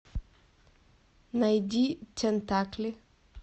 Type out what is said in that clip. найди тентакли